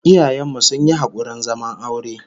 Iyayen mu sun yi hakurin zaman aure